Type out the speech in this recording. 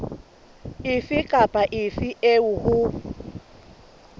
efe kapa efe eo ho